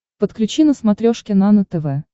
подключи на смотрешке нано тв